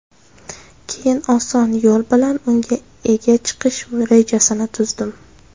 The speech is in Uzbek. Keyin oson yo‘l bilan unga ega chiqish rejasini tuzdim.